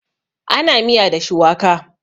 ana miya da shuwaka